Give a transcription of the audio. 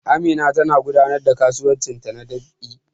Amina tana gudanar da kasuwancinta na dab'i